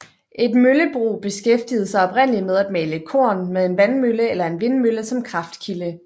Et møllebrug beskæftigede sig oprindeligt med at male korn med en vandmølle eller en vindmølle som kraftkilde